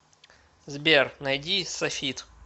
сбер найди сафит